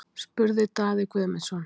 spurði Daði Guðmundsson.